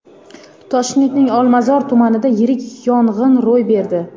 Toshkentning Olmazor tumanida yirik yong‘in ro‘y berdi.